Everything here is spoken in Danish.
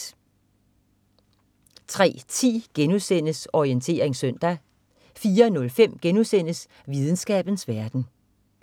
03.10 Orientering søndag* 04.05 Videnskabens verden*